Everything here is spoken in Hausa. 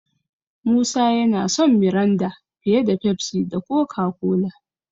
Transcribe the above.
Musa yana son Miranda fiye da Pepsi da Coca-Cola.